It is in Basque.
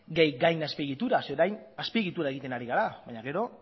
gehi gain azpiegitura zeren eta orain azpiegitura egiten ari gara baina gero